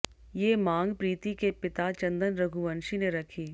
ये मांग प्रीति के पिता चंदन रघुवंशी ने रखी